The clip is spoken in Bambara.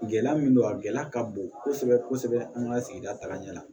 Gɛlɛya min don a gɛlɛya ka bon kosɛbɛ kosɛbɛ an ka sigida taga ɲɛ la